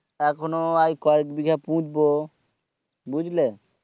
এখনো আর কয়েক বিঘা পুঁতবো বুজলে